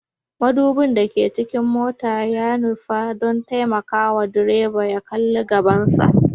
Mudubin da ke cikin motoci ya nufa don taimakawa direban ya kalli bayansa